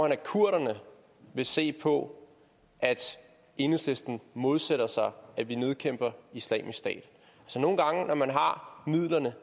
at kurderne vil se på at enhedslisten modsætter sig at vi nedkæmper islamisk stat nogle gange når man har midlerne